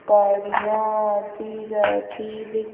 गाड़ियां आती जाती देख --